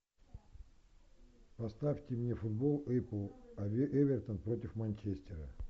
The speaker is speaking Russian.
поставьте мне футбол апл эвертон против манчестера